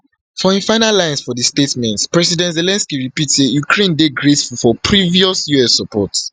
for im final lines for di statement president zelensky repeat say ukraine dey grateful for previous us support